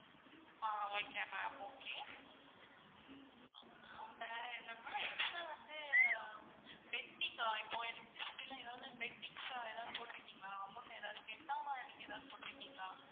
ஆஹ் okay ma'am okay ஆஹ் அந்த என்னமா extra வந்து pending இப்போ electricity ல ஏதாவது pendings எதாவது போட்டுருக்கீங்களா? amount எதாவது நீங்க கெட்டாம போட்ருக்கீங்களா?